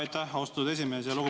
Aitäh, austatud esimees!